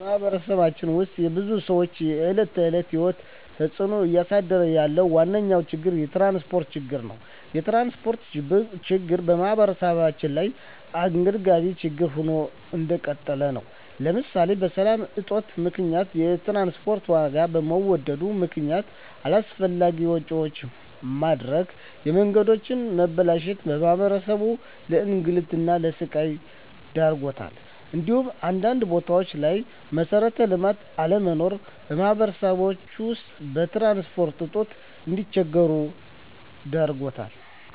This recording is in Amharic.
በማህበረሰባችን ውስጥ የብዙ ሰዎች የዕለት ተዕለት ህይወት ላይ ተፅእኖ እያሳደረ ያለው ዋነኛ ችግር የትራንስፖርት ችግር ነው። የትራንስፖርት ችግር በማህበረሰባችን ላይ አንገብጋቢ ችግር ሆኖ እንደቀጠለ ነው ለምሳሌ በሰላም እጦት ምክንያት የትራንስፖርት ዋጋ በመወደድ ምክነያት አላስፈላጊ ወጪዎች መዳረግ፣ የመንገዶች መበላሸት ማህበረሰባችንን ለእንግልትና ለስቃይ ዳርጓታል እንዲሁም አንዳንድ ቦታዎች ላይ መሠረተ ልማት አለመኖር ማህበረሰባችን በትራንስፖርት እጦት እንዲቸገር ዳርጎታል።